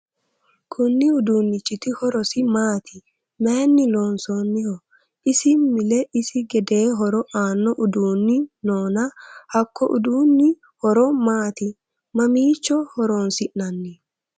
Konni uduunichiti horosi maati? Mayinni loonsoonniho? Isi mile isi gedee horo aano uduunni noonna hako uduunni horo maati? Mamiicho horoonsi'nanni